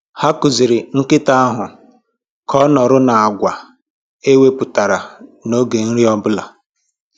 Ha kụziiri nkịta ahụ ka ọ nọrọ na-akwa e wepụtara n'oge nri obụla